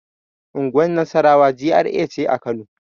Unguwar nasarawa GRA ce a kano